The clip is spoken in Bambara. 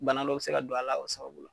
Bana dɔw bi se ka don a la o sababu la